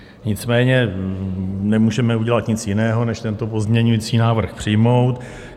Nicméně nemůžeme udělat nic jiného, než tento pozměňovací návrh přijmout.